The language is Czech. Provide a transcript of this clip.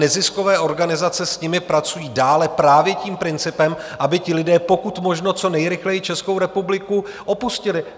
Neziskové organizace s nimi pracují dále právě tím principem, aby ti lidé pokud možno co nejrychleji Českou republiku opustili.